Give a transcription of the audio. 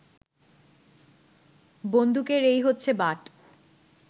বন্দুকের এই হচ্ছে বাঁট